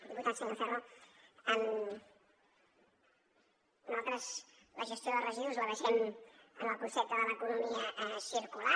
diputat senyor ferro nosaltres la gestió de residus la basem en el concepte de l’economia circular